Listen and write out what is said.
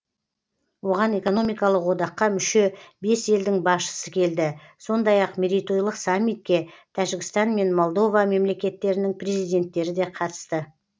оған экономикалық одаққа мүше бес елдің басшысы келді сондай ақ мерейтойлық саммитке тәжікстан мен молдова мемлекеттерінің президенттері де қатысты